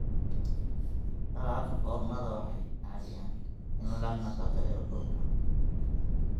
Dalagga foornada waxay caawiyaan in la nafaqeeyo dhulka.